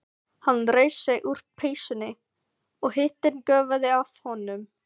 Hann reif sig úr peysunni og hitinn gufaði af honum.